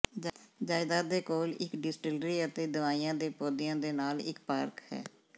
ਜਾਇਦਾਦ ਦੇ ਕੋਲ ਇੱਕ ਡਿਸਟਿਲਰੀ ਅਤੇ ਦਵਾਈਆਂ ਦੇ ਪੌਦਿਆਂ ਦੇ ਨਾਲ ਇੱਕ ਪਾਰਕ ਹੈ